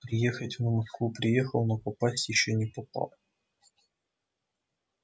приехать он в москву приехал но попасть ещё не попал